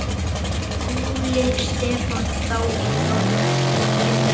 Óli Stefán þá í Fjölni?